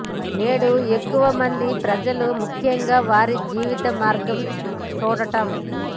నేడు ఎక్కువ మంది ప్రజలు ముఖ్యంగా వారి జీవిత మార్గం చూడటం